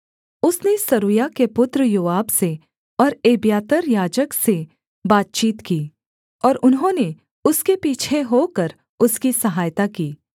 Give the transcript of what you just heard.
उसने सरूयाह के पुत्र योआब से और एब्यातार याजक से बातचीत की और उन्होंने उसके पीछे होकर उसकी सहायता की